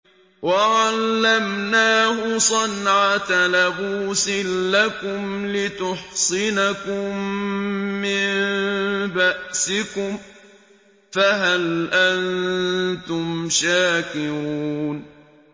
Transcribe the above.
وَعَلَّمْنَاهُ صَنْعَةَ لَبُوسٍ لَّكُمْ لِتُحْصِنَكُم مِّن بَأْسِكُمْ ۖ فَهَلْ أَنتُمْ شَاكِرُونَ